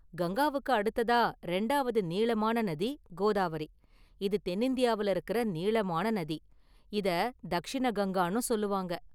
கங்காவுக்கு அடுத்ததா ரெண்டாவது நீளமான நதி கோதாவரி, இது தென்னிந்தியாவில இருக்குற நீளமான நதி, இத தக்ஷிண கங்கான்னும் சொல்வாங்க.